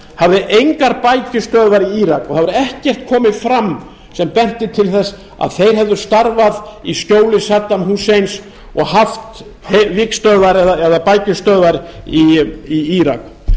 hafði engar bækistöðvar í írak og það hefur ekkert komið fram sem benti til þess að þeir hefðu starfað í skjóli saddam husseins og haft vígstöðvar eða bækistöðvar í írak